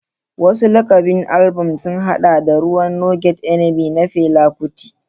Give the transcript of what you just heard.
Wasu lakabin albam sun haɗa da "Ruwan No Get Enemy" na Fela Kuti.